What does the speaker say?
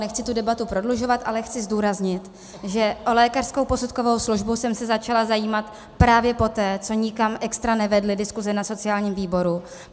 Nechci tu debatu prodlužovat, ale chci zdůraznit, že o lékařskou posudkovou službu jsem se začala zajímat právě poté, co nikam extra nevedly diskuse na sociálním výboru.